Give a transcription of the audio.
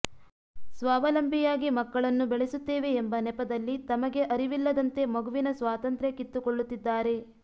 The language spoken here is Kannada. ಸ್ವಾವಲಂಬಿಯಾಗಿ ಮಕ್ಕಳನ್ನು ಬೆಳಸುತ್ತೇವೆ ಎಂಬ ನೆಪದಲ್ಲಿ ತಮಗೆ ಅರಿವಿಲ್ಲದಂತೆ ಮಗುವಿನ ಸ್ವಾತಂತ್ರ್ಯ ಕಿತ್ತುಕೊಳ್ಳುತ್ತಿದ್ದಾರೆ